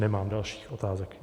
Nemám dalších otázek.